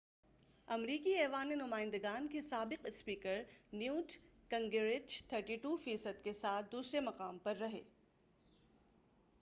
امریکی ایوانِ نمائند گان کے سابق اسپیکر نیوٹ گنگریچ 32 فی صد کے ساتھ دوسرے مقام پر رہے